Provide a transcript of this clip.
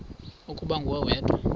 ukuba nguwe wedwa